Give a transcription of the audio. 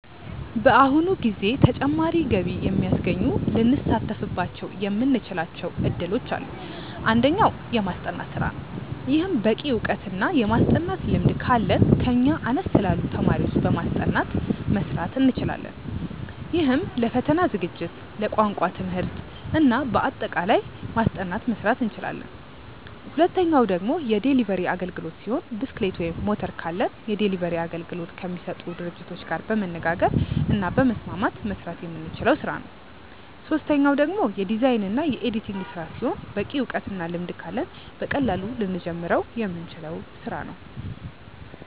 በአሁኑ ጊዜ ተጨማሪ ገቢ የሚያስገኙ ልንሳተፍባቸው የምንችላቸው እድሎች አሉ። አንደኛው። የማስጠናት ስራ ነው። ይህም በቂ እውቀት እና የማስጠናት ልምድ ካለን ከኛ አነስ ላሉ ተማሪዎች በማስጠናት መስራት እንችላለን። ይህም ለፈተና ዝግጅት፣ ለቋንቋ ትምህርት እና ለአጠቃላይ ማስጠናት መስራት እንችላለን። ሁለተኛው ደግሞ የዴሊቨሪ አግልግሎት ሲሆን ብስክሌት ወይም ሞተር ካለን የዴሊቨሪ አገልግሎት ከሚሰጡ ድርጅቶች ጋር በመነጋገር እና በመስማማት መስራት የምንችለው ስራ ነው። ሶስተኛው ደግሞ የዲዛይን እና የኤዲቲንግ ስራ ሲሆን በቂ እውቀት እና ልምድ ካለን በቀላሉ ልንጀምረው የምንችለው ስራ ነው።